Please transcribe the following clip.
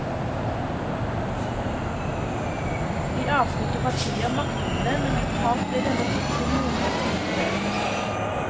I avsnitt og partier makter han det, men totalt blir denne boken noe konstruert.